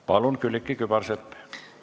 Palun, Külliki Kübarsepp!